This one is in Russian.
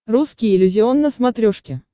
русский иллюзион на смотрешке